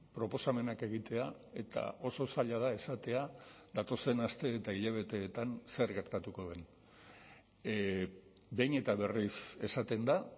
proposamenak egitea eta oso zaila da esatea datozen aste eta hilabeteetan zer gertatuko den behin eta berriz esaten da